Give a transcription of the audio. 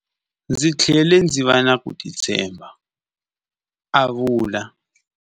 Ndzi tlhele ndzi va na ku titshemba, a vula.